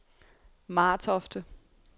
Martofte